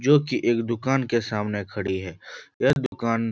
जो की एक दुकान के सामने खड़ी है यह दुकान --